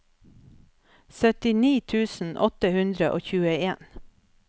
syttini tusen åtte hundre og tjueen